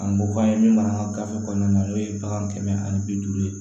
An ko k'an ye min mara an ka gafe kɔnɔna na n'o ye bagan kɛmɛ ani bi duuru ye